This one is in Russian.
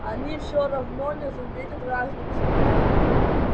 они все равно не заметят разницы